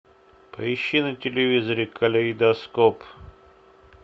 поищи на телевизоре калейдоскоп